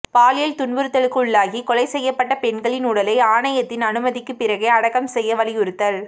பாலியல் துன்புறுத்தலுக்குள்ளாகி கொலை செய்யப்பட்ட பெண்களின் உடலை ஆணையத்தின் அனுமதிக்கு பிறகே அடக்கம் செய்ய வலியுறுத்தல்